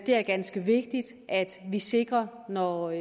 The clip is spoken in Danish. det er ganske vigtigt at vi sikrer når